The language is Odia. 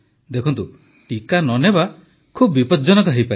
ଦେଖନ୍ତୁ ଟିକା ନ ନେବା ବହୁତ ବିପଦଜ୍ଜନକ ହୋଇପାରେ